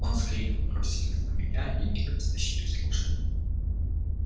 он с криком бросились на меня и мигом стащили с лошади